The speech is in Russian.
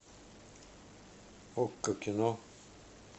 окко кино